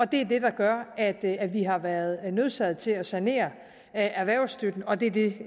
det er det der gør at at vi har været nødsaget til at sanere erhvervsstøtten og det er det